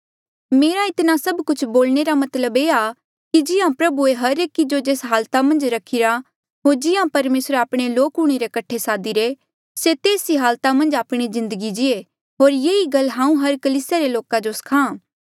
मेरा इतना सब कुछ बोलणे रा मतलब ये आ कि जिहां प्रभुए हर एकी जो जेस हालाता मन्झ रखीरा होर जिहां परमेसरे आपणे लोक हूंणे रे कठे सादीरे से तेस ही हालाता मन्झ आपणी जिन्दगी जीये होर ये ही गल हांऊँ हर कलीसिया रे लोका जो सखा